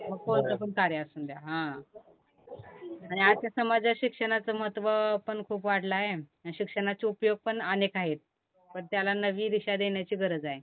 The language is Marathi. मग कोणतं पण कार्य असून द्या हं, आणि आजच्या समाजात शिक्षणाचं महत्व पण खूप वाढलं आहे अन शिक्षणाचे उपयोग पण अनेक आहेत पण त्याला नवी दिशा देण्याची गरज आहे.